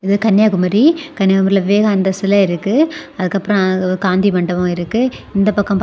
இது கன்னியாகுமரி. கன்னியாகுமரியில விவேகானந்தர் சிலை இருக்கு. அதுக்கப்புறம் அ காந்தி மண்டபம் இருக்கு. இந்த பக்கம் பா.